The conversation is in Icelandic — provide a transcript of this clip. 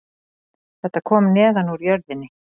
Þetta kom neðan úr jörðinni